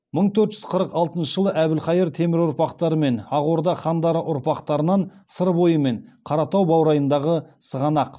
мың төрт жүз қыры алтыншы жылы әбілхайыр темір ұрпақтары мен ақ орда хандары ұрпақтарынан сыр бойы мен қаратау баурайындағы сығанақ